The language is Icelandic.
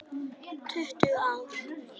Tuttugu ár!